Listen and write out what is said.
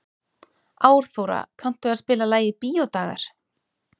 Árþóra, kanntu að spila lagið „Bíódagar“?